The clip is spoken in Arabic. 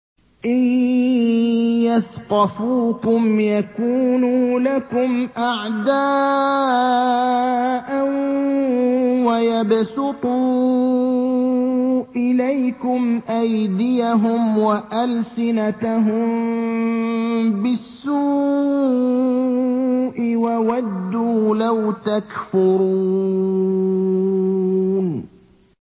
إِن يَثْقَفُوكُمْ يَكُونُوا لَكُمْ أَعْدَاءً وَيَبْسُطُوا إِلَيْكُمْ أَيْدِيَهُمْ وَأَلْسِنَتَهُم بِالسُّوءِ وَوَدُّوا لَوْ تَكْفُرُونَ